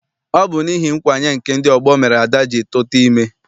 Ọ bụ n'ihi nkwanye nke ndị ọgbọ mere Ada ji tuta ime.